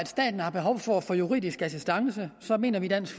staten har behov for at få juridisk assistance mener vi i dansk